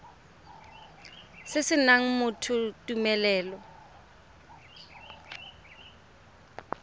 se se nayang motho tumelelo